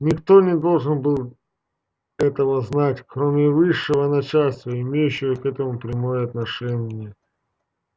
никто не должен был этого знать кроме высшего начальства имеющего к этому прямое отношение